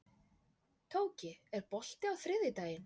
Tóki, er bolti á þriðjudaginn?